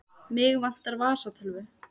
Mig vantar vasatölvu.